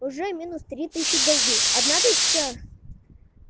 уже три тысячи голды одна тысяча